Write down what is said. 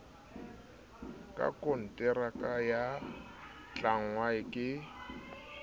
ka konteraka ba tlangwa ke